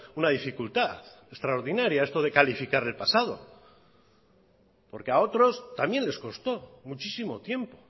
una dificultad extraordinaria esto de calificar el pasado porque a otros también les costó muchísimo tiempo